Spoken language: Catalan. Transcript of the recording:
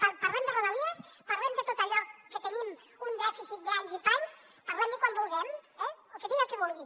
parlem de rodalies parlem de tot allò que tenim un dèficit d’anys i panys parlem ne quan vulguem eh el dia que vulgui